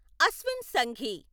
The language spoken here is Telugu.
అశ్విన్ సంఘీ